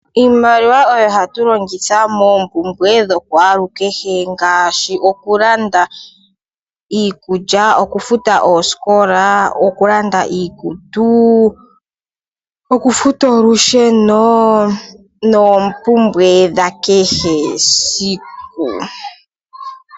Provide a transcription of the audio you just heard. Iimaliwa oyo hatu longitha moompumbwe dha kwalukehe ngaashi okulanda iikulya, okufuta oosikola, okulanda iikutu, okufuta olusheno noompumbwe dha kehesiku.